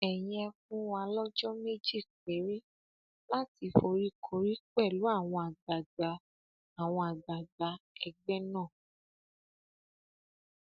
ẹyin ẹ fún wa lọjọ méjì péré láti foríkorí pẹlú àwọn àgbààgbà àwọn àgbààgbà ẹgbẹ náà